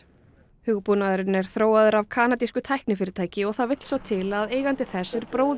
hugbúnaðurinn er þróaður af kanadísku tæknifyrirtæki og það vill svo til að eigandi þess er bróðir